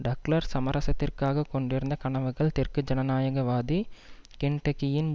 Douglas சமரசத்திற்காகக் கொண்டிருந்த கனவுகள் தெற்கு ஜனநாயகவாதி கென்டக்கியின்